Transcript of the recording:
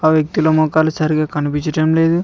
ఆ వ్యక్తుల మొఖాలు సరిగ్గా కనిపించటంలేదు.